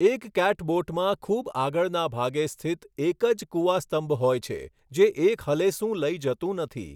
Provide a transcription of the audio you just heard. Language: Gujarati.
એક કેટબોટમાં ખૂબ આગળના ભાગે સ્થિત એક જ કુવાસ્તંભ હોય છે જે એક હલેસું લઈ જતું નથી.